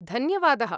धन्यवादः।